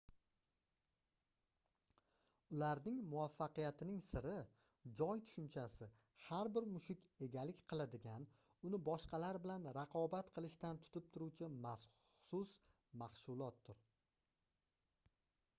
ularning muvaffaqiyatining siri joy tushunchasi har bir mushuk egalik qiladigan uni boshqalar bilan raqobat qilishdan tutib turuvchi maxsus mashgʻulotdir